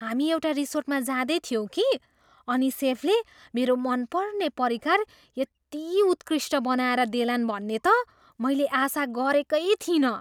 हामी एउटा रिसोर्टमा जाँदै थियौँ कि, अनि सेफले मेरो मनपर्ने परिकार यति उत्कृष्ट बनाएर देलान् भन्ने त मैले आशा गरेकै थिइनँ।